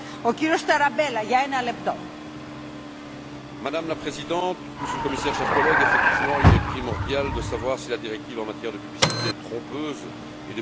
Madame la Présidente, Monsieur le Commissaire, chers collègues, effectivement, il est primordial de savoir si la directive en matière de publicité trompeuse et de publicité comparative est bien transposée et appliquée dans les États membres.